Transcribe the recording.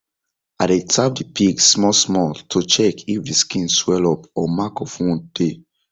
i dey tap the pigs small small to check if the skin swell up or mark of wound dey